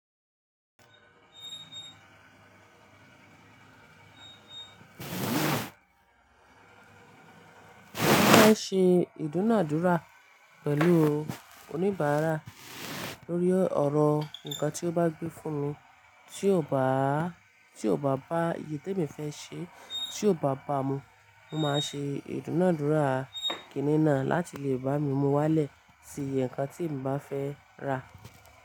Máa ń ṣe ìdúnàádúrà pẹ̀lú oníbàárà lórí ọ̀rọ̀ nǹkan tí ó bá gbé fún mi tí ò bá, tí ò bá báye èyí tí me fẹ́ ṣe, tí ò bá bá mu. Mo máa ṣe ìdúnàádúrà kìíní náà láti lè bá mi mú wálẹ̀ sí iye ǹkan tí m bá fẹ́ rà.